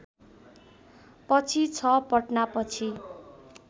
पछि छ पटनापछि